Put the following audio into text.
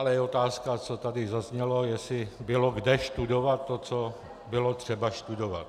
Ale je otázka, co tady zaznělo, jestli bylo kde studovat to, co bylo třeba studovat.